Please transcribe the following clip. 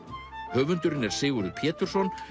höfundur er Sigurður Pétursson